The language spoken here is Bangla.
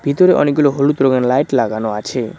ভিতরে অনেকগুলো হলুদ রঙের লাইট লাগানো আছে।